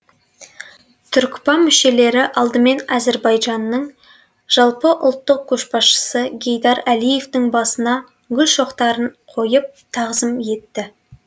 түркпа мүшелері алдымен әзірбайжанның жалпыұлттық көшбасшысы гейдар әлиевтің басына гүл шоқтарын қойып тағзым етті